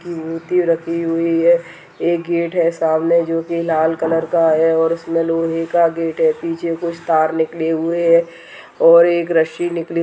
मूर्ति रखी हुई है एक गेट है सामने जोकि लाल कलर का है और उसमे लोहे का गेट है पीछे कुछ तार निकले हुए हैं और एक रस्सी निकली --